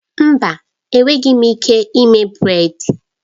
Mba! Enweghị m ike ime brèd